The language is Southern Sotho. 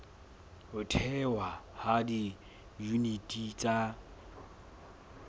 ho thehwa ha diyuniti tsa